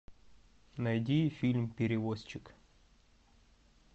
найди фильм перевозчик